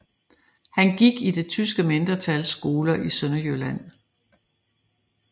Han gik i det tyske mindretals skoler i Sønderjylland